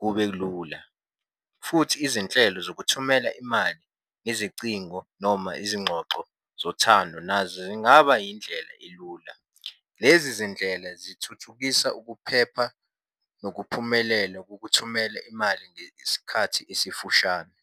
kube lula, futhi izinhlelo zokuthumela imali ngezicingo noma izingxoxo zothando nazo zingaba indlela elula. Lezi zindlela zithuthukisa ukuphepha nokuphumelela kokuthumela imali ngesikhathi esifushane.